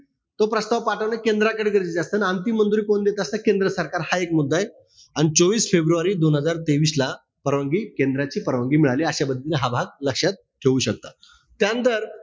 तो प्रस्ताव पाठवणं केंद्राकडे गरजेचं असत. आणि अंतिम मंजुरी कोण देत असत? केंद्र सरकार. हा एक मुद्दाय. अन चोविस फेब्रुवारी दोन हजार तेवीस ला परवानगी केंद्राची परवानगी मिळाली. अशा पद्धतीने हा भाग लक्षात ठेऊ शकता. त्यानंतर,